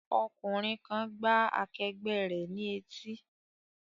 Ọkùnrin kan gbá akẹgbẹ́ rẹ̀ ní etí